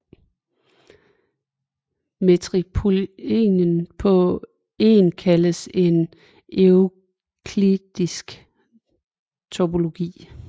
Metriktopologien på En kaldes den euklidiske topologi